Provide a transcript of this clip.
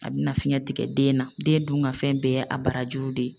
A bɛna fiɲɛ tigɛ den na den dun ka fɛn bɛɛ ye a barajuru de ye.